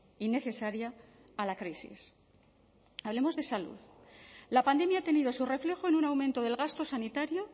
y necesaria a la crisis hablemos de salud la pandemia ha tenido su reflejo en un aumento del gasto sanitario